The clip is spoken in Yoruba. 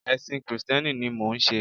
Èsìn krìsténi ni mò n se